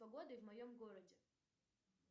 погода в моем городе